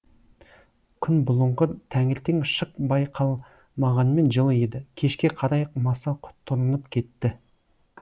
күн бұлыңғыр таңертең шық байқалмағанмен жылы еді кешке қарай маса құтырынып кетті